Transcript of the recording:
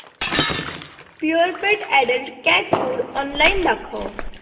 Purepet adult cat food online दाखव